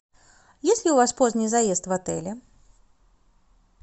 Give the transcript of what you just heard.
есть ли у вас поздний заезд в отеле